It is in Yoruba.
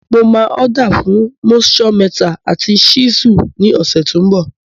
Mo máa order fún moisture meter àti chisel ní ọ̀sẹ̀ tó n bò